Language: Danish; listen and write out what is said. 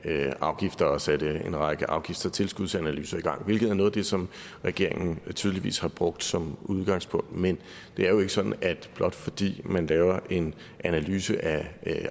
af afgifter og satte en række afgifts og tilskudsanalyser i gang hvilket er noget af det som regeringen tydeligvis har brugt som udgangspunkt men blot fordi man laver en analyse af